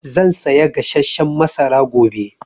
Zan saya gasasshen masara gobe